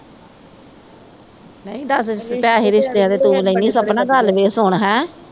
ਨਹੀਂ ਦਸ ਪੈਸੇ ਰਿਸ਼ਤਿਆਂ ਦੇ ਤੂੰ ਲੈਣੀ ਸਪਨਾ ਗੱਲ ਵੇਖ ਸੁਣ ਹੈਂ।